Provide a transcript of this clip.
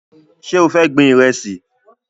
Ṣé o fẹ́ gbin Ìrẹ́sì?